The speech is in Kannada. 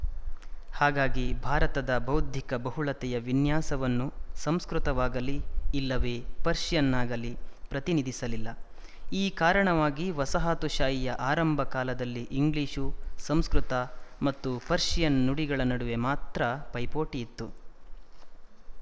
ಹಾಗಾಗಿ ಭಾರತದ ಬೌದ್ಧಿಕ ಬಹುಳತೆಯ ವಿನ್ಯಾಸವನ್ನು ಸಂಸ್ಕೃತವಾಗಲಿ ಇಲ್ಲವೇ ಪರ್ಶಿಯನ್ನಾಗಲಿ ಪ್ರತಿನಿಧಿಸಲಿಲ್ಲ ಈ ಕಾರಣವಾಗಿ ವಸಾಹತುಶಾಹಿಯ ಆರಂಭ ಕಾಲದಲ್ಲಿ ಇಂಗ್ಲಿಶು ಸಂಸ್ಕೃತ ಮತ್ತು ಪರ್ಶಿಯನ್ ನುಡಿಗಳ ನಡುವೆ ಮಾತ್ರ ಪೈಪೋಟಿ ಇತ್ತು